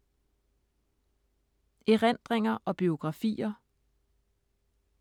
Erindringer og biografier